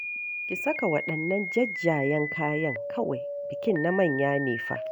Ki saka waɗannan jajjayen kayan kawai, bikin na manya ne fa